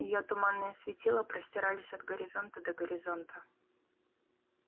её туманные светила простирались от горизонта до горизонта